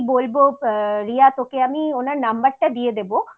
মানে যে কি বলব রিয়া তোকে আমি ওনার নাম্বারটা দিয়ে দেব